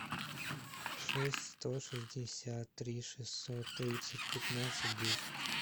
шесть сто шестьдесят три шестьсот тридцать пятнадцать десять